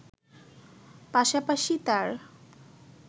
পাশাপাশি তার